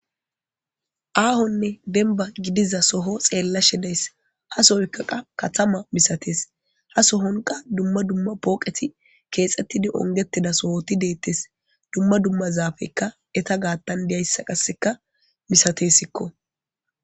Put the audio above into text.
Aahaonne demba gidiza soho xeellashe days ha sooyika katama misatees ha sohonka dumma dumma pooqeti keexettidi ongettida sohoti deetes dumma dumma zaafey eeta gaathan dees.